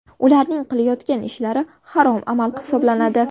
Ularning qilayotgan ishlari harom amal hisoblanadi.